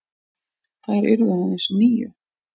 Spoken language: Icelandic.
Þær yrðu aðeins níu.